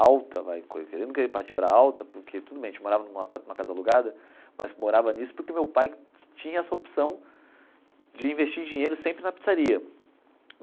alta vai, não querendo partir para alta, porque tudo bem, a gente morava num apar numa casa alugada, mas morava nisso porque meu pai tinha essa opção de investir em dinheiro sempre na pizzaria.